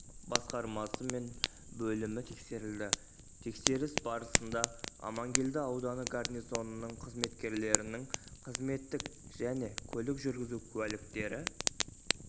басқармасы мен бөлімі тексерілді тексеріс барысында амангелді ауданы гарнизонының қызметкерлерінің қызметтік және көлік жүргізу куәліктері